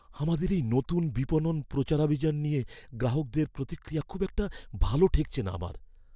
আমাদের এই নতুন বিপণন প্রচারাভিযান নিয়ে গ্রাহকদের প্রতিক্রিয়া খুব একটা ভালো ঠেকছে না আমার!